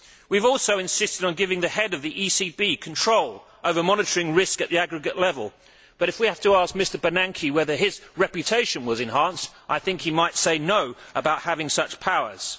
We have also insisted on giving the Head of the ECB control over monitoring risk at the aggregate level, but if we have to ask Mr Bernanke whether his reputation was enhanced, I think he might say No' about having such powers.